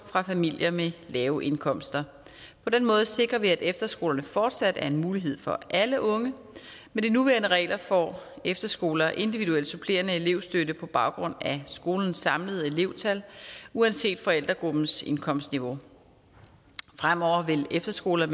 fra familier med lave indkomster på den måde sikrer vi at efterskolerne fortsat er en mulighed for alle unge med de nuværende regler får efterskoler individuel supplerende elevstøtte på baggrund af skolens samlede elevtal uanset forældregruppens indkomstniveau fremover vil efterskoler